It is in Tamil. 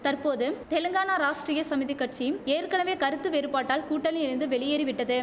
தற்போது தெலுங்கானா ராஷ்டிரிய சமிதி கட்சிம் ஏற்கனவே கருத்து வேறுபாட்டால் கூட்டணியில் இருந்து வெளியேறி விட்டது